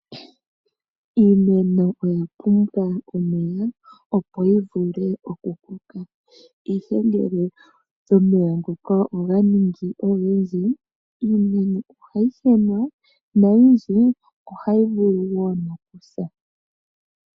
Iimeno oya pumbwa omeya, opo yi vule okukoka. Ihe ngele omeya ngoka oga ningi ogendji iimeno ohayi henwa noyindji ohayi vulu wo nokusa.